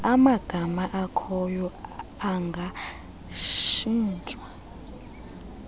amagama akhoyo angatshintshwa